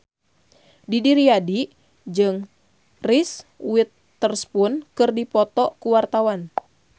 Didi Riyadi jeung Reese Witherspoon keur dipoto ku wartawan